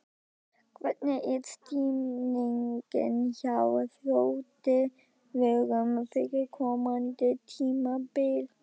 Hvernig er stemningin hjá Þrótti Vogum fyrir komandi tímabil?